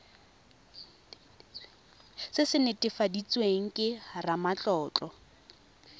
se se netefaditsweng ke ramatlotlo